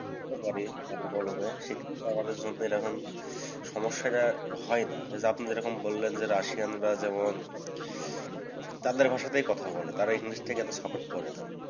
করতে পারি হাতে কলমে। সেক্ষেত্রে আমাদের জন্যে এরকম সমস্যাটা হয় না। এ যে আপনি যেরকম বললেন যে রাশিয়ানরা যেমন তাদের ভাষাতেই কথা বলে তারা english টাকে এতো support করে না।